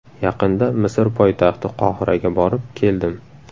Yaqinda Misr poytaxti Qohiraga borib, keldim.